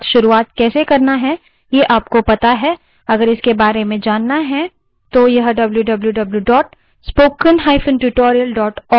यदि आप इच्छुक हैं तो